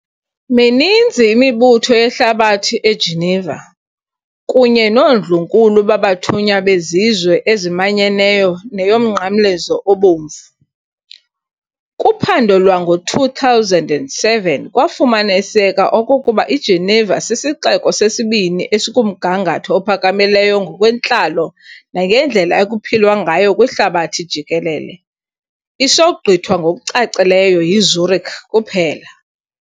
Mininzi imibutho yehlabathi eGeneva, kunye noondlunkulu babathunywa bezizwe ezimanyeneyo neyoMnqamlezo Obomvu. Kuphando lwango-2007 kwafumaniseka okokuba iGeneva sisixeko sesibini esikumgangatho ophakamileyo ngokwentlalo nangendlela ekuphilwa ngayo kwihlabathi jikelele, isogqithwa ngokucacileyo yiZürich kuphela.